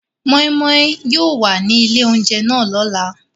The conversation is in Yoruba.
Moi Moi yóò wa ni ile ounjẹ náà lọla.